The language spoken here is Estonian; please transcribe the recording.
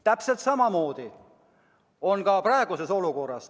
Täpselt samamoodi on ka praeguses olukorras.